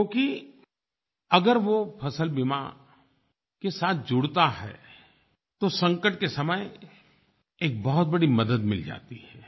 क्योंकि अगर वो फ़सल बीमा के साथ जुड़ता है तो संकट के समय एक बहुत बड़ी मदद मिल जाती है